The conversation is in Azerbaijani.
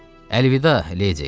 Əlvida, ledi.